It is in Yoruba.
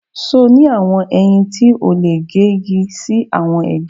Sọ́ọ̀ ni awọn eyin ti o le ge igi si awọn ege